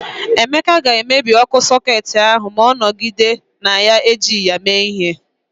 Emeka ga-emebi ọkụ sọketi ahụ ma ọ nọgide na-eji ya eme ihe.